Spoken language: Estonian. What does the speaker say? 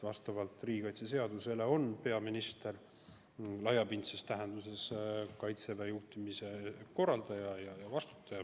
Vastavalt riigikaitse seadusele on peaminister laiapindses tähenduses Kaitseväe juhtimise korraldaja ja selle eest vastutaja.